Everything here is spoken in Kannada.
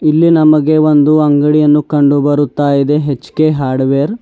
ಇಲ್ಲಿ ನಮಗೆ ಒಂದು ಅಂಗಡಿಯನ್ನು ಕಂಡು ಬರುತ್ತಾ ಇದೆ ಎಚ್_ಕೆ ಹಾರ್ಡ್ವೇರ್ .